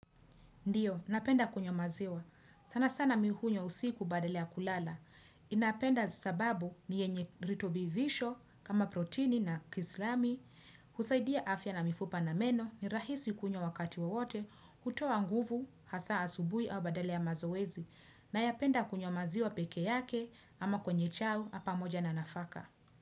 Ndiyo, napenda kunywa maziwa. Sana sana mimi hunywa usiku badala ya kulala Ninapenda sababu ni yenye virutubisho kama protini na kalsiamu, husaidia afya na mifupa na meno, ni rahisi kunywa wakati wowote, na hutoa nguvu, hasa asubuhi au badala ya mazoezi. Nayapenda kunywa maziwa peke yake ama kwenye chai pamoja na nafaka.